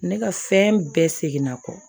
Ne ka fɛn bɛɛ seginna kɔ